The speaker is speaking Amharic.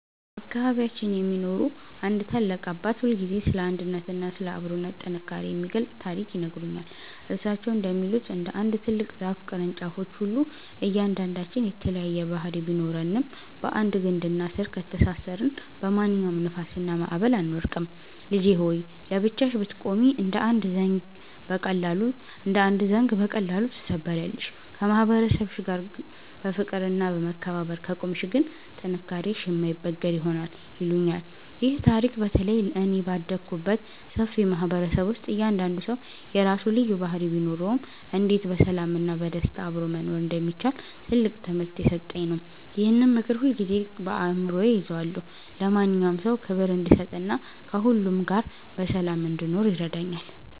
በአካባቢያችን የሚኖሩ አንድ ታላቅ አባት ሁልጊዜ ስለ አንድነትና ስለ አብሮነት ጥንካሬ የሚገልጽ ታሪክ ይነግሩኛል። እሳቸው እንደሚሉት፣ እንደ አንድ ትልቅ ዛፍ ቅርንጫፎች ሁሉ እያንዳንዳችን የተለያየ ባህሪ ቢኖረንም፣ በአንድ ግንድና ስር ከተሳሰርን በማንኛውም ንፋስና ማዕበል አንወድቅም። "ልጄ ሆይ! ለብቻሽ ብትቆሚ እንደ አንድ ዘንጊ በቀላሉ ትሰበሪያለሽ፤ ከማህበረሰብሽ ጋር በፍቅርና በመከባበር ከቆምሽ ግን ጥንካሬሽ የማይበገር ይሆናል" ይሉኛል። ይህ ታሪክ በተለይ እኔ ባደግኩበት ሰፊ ማህበረሰብ ውስጥ እያንዳንዱ ሰው የራሱ ልዩ ባህሪ ቢኖረውም፣ እንዴት በሰላምና በደስታ አብሮ መኖር እንደሚቻል ትልቅ ትምህርት የሰጠኝ ነው። ይህንን ምክር ሁልጊዜም በአእምሮዬ እይዘዋለሁ፤ ለማንኛውም ሰው ክብር እንድሰጥና ከሁሉ ጋር በሰላም እንድኖርም ይረዳኛል።